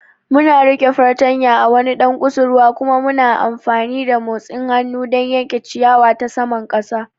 Muna riƙe fartanya a wani ɗan kusurwa kuma muna amfani da motsin hannu don yanke ciyawa ta saman ƙasa.